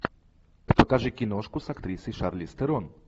покажи киношку с актрисой шарлиз терон